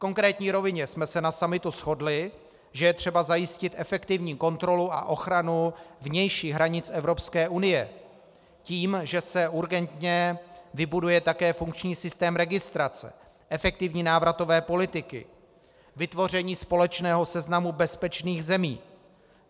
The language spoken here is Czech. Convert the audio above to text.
V konkrétní rovině jsme se na summitu shodli, že je třeba zajistit efektivní kontrolu a ochranu vnějších hranic Evropské unie tím, že se urgentně vybuduje také funkční systém registrace, efektivní návratové politiky, vytvoření společného seznamu bezpečných zemí.